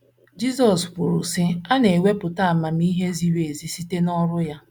Jizọs kwuru,, sị: “ A na - anwapụta na amamihe ziri ezi site n’ọrụ ya. ”